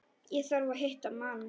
Ég þarf að hitta mann.